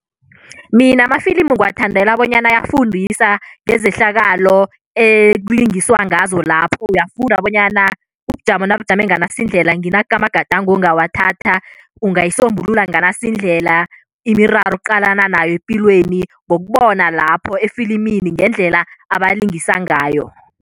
Mina amafilimu ngiwathandela bonyana ayafundisa ngezehlakalo ekulingiswa ngazo lapho. Uyafunda bonyana ubujamo nabujame nganasindlela, nginaka amagadango ongawathatha, ungayisombulula nganasi indlela, imiraro oqalana nayo epilweni ngokubona lapho efilimini ngendlela abalingisa ngayo.